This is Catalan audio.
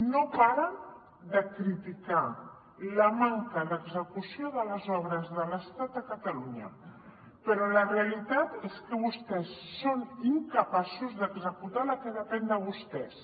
no paren de criticar la manca d’execució de les obres de l’estat a catalunya però la realitat és que vostès són incapaços d’executar la que depèn de vostès